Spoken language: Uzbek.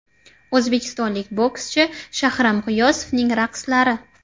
O‘zbekistonlik bokschi Shahram G‘iyosovning raqslari.